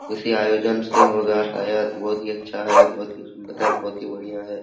किसी आयोजन से होगा शायद बहुत ही अच्छा है बहुत ही सुन्दर है बढिया है ।